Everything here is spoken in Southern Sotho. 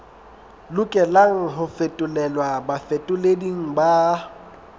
lokelang ho fetolelwa bafetoleding ba